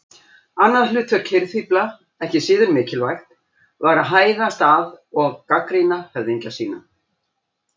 Annað hlutverk hirðfífla, ekki síður mikilvægt, var að hæðast að og gagnrýna höfðingja sína.